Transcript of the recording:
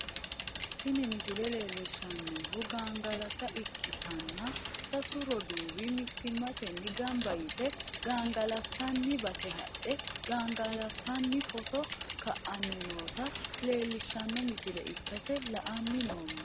Tini misile leellishshannohu gangalata ikkitanna, sasu roduuwi mittimmatenni gamba yite gangalantanni base hadhe gangalantanni footo ka'anni noota leellishshanno misile ikkase la'anni noommo.